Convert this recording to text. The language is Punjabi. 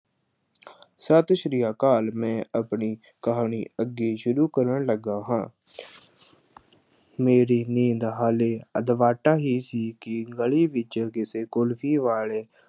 ਸਤਿ ਸ੍ਰੀ ਅਕਾਲ ਮੈਂ ਆਪਣੀ ਕਹਾਣੀ ਅੱਗੇ ਸ਼ੁਰੂ ਕਰਨ ਲੱਗਾ ਹਾਂ ਮੇਰੀ ਨੀਂਦ ਹਾਲੇ ਅਧਵਾਟਾ ਹੀ ਸੀ ਕਿ ਗਲੀ ਵਿੱਚ ਕਿਸੇ ਕੁਲਫ਼ੀ ਵਾਲੇ